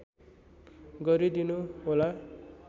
गरिदिनु होला